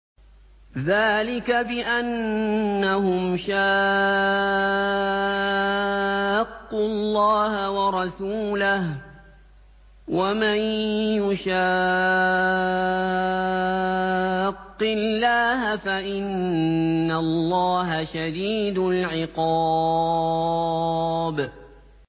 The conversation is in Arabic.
ذَٰلِكَ بِأَنَّهُمْ شَاقُّوا اللَّهَ وَرَسُولَهُ ۖ وَمَن يُشَاقِّ اللَّهَ فَإِنَّ اللَّهَ شَدِيدُ الْعِقَابِ